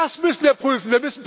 Das müssen wir prüfen.